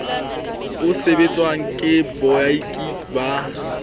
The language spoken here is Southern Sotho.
o sebetswang ke baoki ba